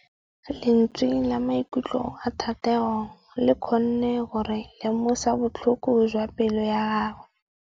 Lentswe la maikutlo a Thategô le kgonne gore re lemosa botlhoko jwa pelô ya gagwe.